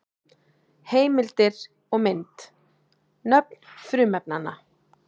Heimildir og mynd: Nöfn frumefnanna.